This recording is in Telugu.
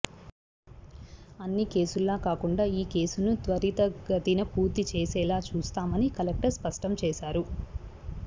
అన్ని కేసుల్లా కాకుండా ఈ కేసును త్వరితగతిన పూర్తి చేసేలా చూస్తామని కలెక్టర్ స్పష్టం చేశారు